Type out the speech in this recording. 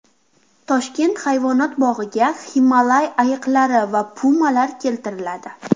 Toshkent hayvonot bog‘iga Himolay ayiqlari va pumalar keltiriladi.